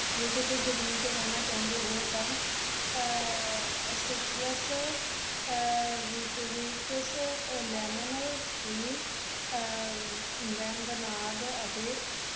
ਜੇ ਤੁਸੀ ਜ਼ਮੀਨ ਤੇ ਰਹਿਣਾ ਚਾਹੁੰਦੇ ਹੋ ਤਾਂ ਅਹ ਸਿਟਰਸ, ਅਹ ਰਿਟ ਰੀਟਸ ਲੈਮਨਵੀ tree ਅਹ ਵੈਂਬਨਾਡ ਅਤੇ